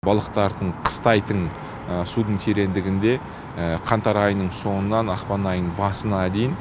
балықтардың қыстайтын судың тереңдігінде қаңтар айының соңынан ақпан айының басына дейін